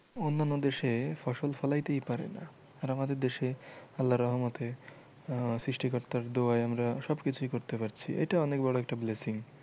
অন্যান্য দেশে ফসল ফলাই তেই পারে না আর আমাদের দেশে আল্লার রহমতে আহ সৃষ্টি কর্তার দুয়ায় আমরা সব কিছুই করতে পারছি এইটা অনেক বড় একটা blessing